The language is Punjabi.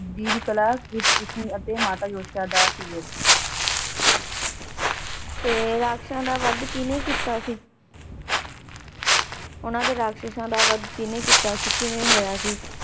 ਜੀ ਦੀ ਕਲਾ ਸ਼੍ਰੀ ਕ੍ਰਿਸ਼ਨ ਅਤੇ ਮਾਤਾ ਯਸ਼ੋਦਾ ਦਾ ਸੀਗੇ। ਤੇ ਰਾਕਸ਼ਸ਼ ਦਾ ਵੱਧ ਕੀਨੇ ਕਿੱਤਾ ਸੀ? ਉੰਨਾ ਦੇ ਰਾਕਸ਼ਸ਼ ਦਾ ਵੱਧ ਕੀਨੇ ਕੀਤਾ ਸੀ? ਕਿਵੇਂ ਹੋਇਆ ਸੀ?